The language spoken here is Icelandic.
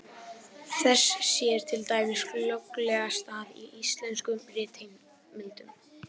Þess sér til dæmis glögglega stað í íslenskum ritheimildum.